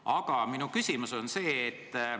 Aga minu küsimus on selline.